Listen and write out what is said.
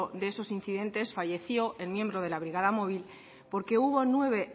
de esos incidentes falleció el miembro de la brigada móvil porque hubo nueve